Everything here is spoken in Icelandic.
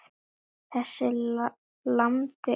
Þessi lamandi ótti.